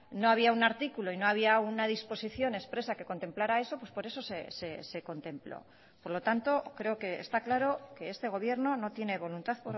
no había un artículo y no había una disposición expresa que contemplara eso pues por eso se contempló por lo tanto creo que está claro que este gobierno no tiene voluntad